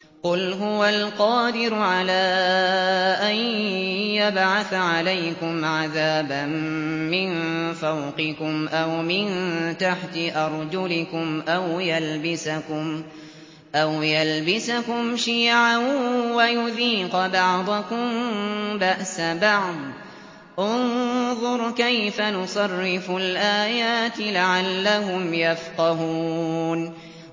قُلْ هُوَ الْقَادِرُ عَلَىٰ أَن يَبْعَثَ عَلَيْكُمْ عَذَابًا مِّن فَوْقِكُمْ أَوْ مِن تَحْتِ أَرْجُلِكُمْ أَوْ يَلْبِسَكُمْ شِيَعًا وَيُذِيقَ بَعْضَكُم بَأْسَ بَعْضٍ ۗ انظُرْ كَيْفَ نُصَرِّفُ الْآيَاتِ لَعَلَّهُمْ يَفْقَهُونَ